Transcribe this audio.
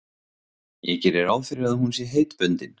Ég geri ráð fyrir að hún sé heitbundin?